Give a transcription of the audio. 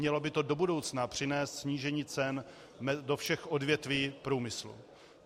Mělo by to do budoucna přinést snížení cen do všech odvětví průmyslu.